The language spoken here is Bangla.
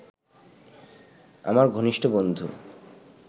আমার ঘনিষ্ঠ বন্ধু